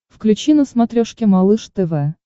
включи на смотрешке малыш тв